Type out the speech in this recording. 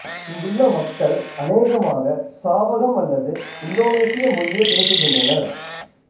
இங்குள்ள மக்கள் அநேகமாக சாவகம் அல்லது இந்தோனேசிய மொழியே பேசுகின்றனர்